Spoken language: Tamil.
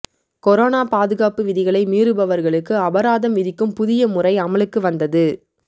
கொரோனா பாதுகாப்பு விதிகளை மீறுபவர்களுக்கு அபராதம் விதிக்கும் புதிய முறை அமலுக்கு வந்தது